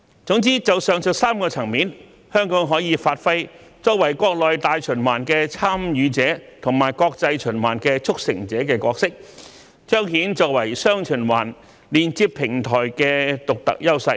總之，就上述3個層面而言，香港可以發揮國內大循環"參與者"和國際循環"促成者"的角色，彰顯我們作為"雙循環"連接平台的獨特優勢。